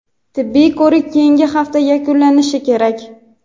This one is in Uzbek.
Tibbiy ko‘rik keyingi hafta yakunlanishi kerak.